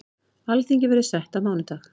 Alþingi verður sett á mánudag.